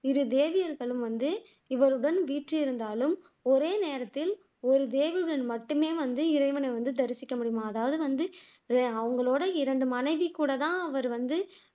இரு தேவியர்களும் வந்து இவருடன் வீற்றிருந்தாலும் ஒரே நேரத்தில் ஓர் தேவியருடன் மட்டுமே வந்து இறைவனை வந்து தரிசிக்க முடியுமாம் அதாவது வந்து அவங்களோட இரண்டு மனைவிகூடத்தான் அவர் வந்து